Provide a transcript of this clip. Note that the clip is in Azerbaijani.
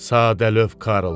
Sadəlövh Karl!